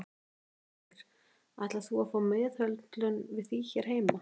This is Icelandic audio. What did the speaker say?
Helga Arnardóttir: Ætlar þú að fá meðhöndlun við því hér heima?